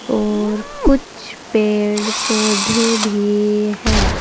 और कुछ पेड़ पौधे भी है।